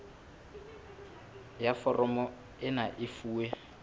ya foromo ena e fuwe